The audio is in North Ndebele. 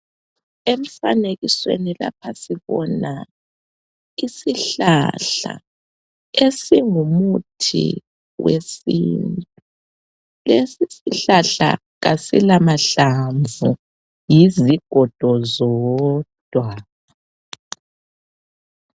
Umfanekisweni lapha sibona isihlahla esingumuthi wesintu lesi sihlahla kasila mahlamvu yizigodo zodwa.